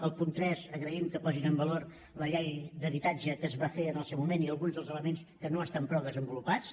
al punt tres agraïm que posin en valor la llei d’habitatge que es va fer en el seu moment i alguns dels elements que no estan prou desenvolupats